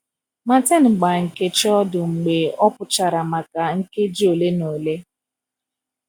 Martin gbaa Nkechi ọdụ mgbe ọ pụchara maka nkeji ole na ole.